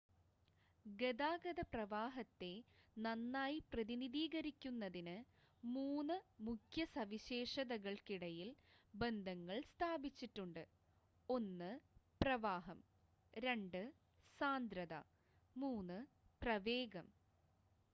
ഗതാഗത പ്രവാഹത്തെ നന്നായി പ്രതിനിധീകരിക്കുന്നതിന്, മൂന്ന് മുഖ്യ സവിശേഷതകൾക്കിടയിൽ ബന്ധങ്ങൾ സ്ഥാപിച്ചിട്ടുണ്ട്: 1 പ്രവാഹം 2 സാന്ദ്രത 3 പ്രവേഗം